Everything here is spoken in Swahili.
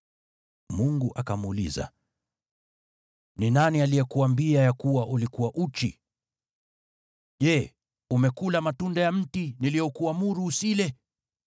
Mungu akamuuliza, “Ni nani aliyekuambia ya kuwa ulikuwa uchi? Je, umekula matunda ya mti niliokuamuru usile?”